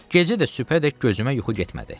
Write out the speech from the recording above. Gecə də sübhədək gözümə yuxu getmədi.